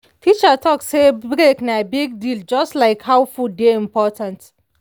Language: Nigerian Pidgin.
teacher talk say break na big deal just like how food dey important.